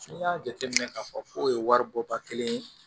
N'i y'a jateminɛ k'a fɔ k'o ye wari bɔ ba kelen ye